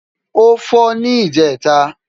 ó́ fọ́ ní ìjẹta